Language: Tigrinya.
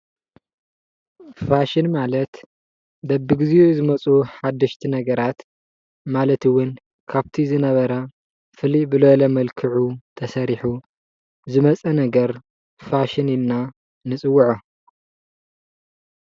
ፋሽን ማለት በቢግዚኡ ዝመፁ ሓደሽቲ ነገራት ማለት እውን ካብቲ ዝነበረ ፍልይ ብዝበለ መልክዑ ተሰሪሑ ዝመፀ ነገር ፈሽን ኢልና ንፅወዖ፡፡